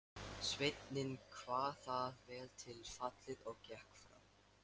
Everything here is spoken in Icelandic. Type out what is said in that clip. Sveinninn kvað það vel til fallið og gekk fram.